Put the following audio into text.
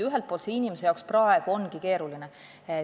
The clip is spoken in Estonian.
Ühelt poolt see ongi praegu inimese jaoks keeruline.